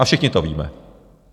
A všichni to víme.